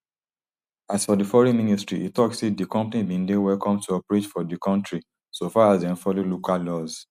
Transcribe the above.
as for di foreign ministry e tok say di company bin dey welcome to operate for di kontri so far as dem follow local laws